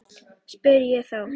spyr ég þá.